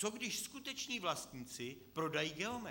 Co když skuteční vlastníci prodají Geomet?